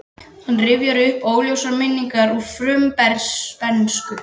Hann rifjar upp óljósar minningar úr frumbernsku.